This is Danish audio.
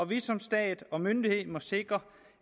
vi som stat og myndighed må sikre